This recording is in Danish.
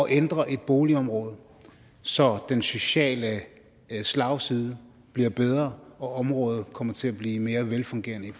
at ændre et boligområde så den sociale slagside bliver bedre og området kommer til at blive mere velfungerende i